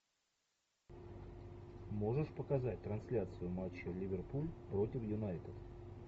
можешь показать трансляцию матча ливерпуль против юнайтед